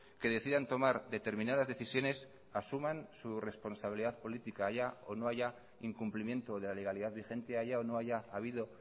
que decidan tomar determinadas decisiones asuman su responsabilidad política haya o no haya incumplimiento de la legalidad vigente haya o no haya habido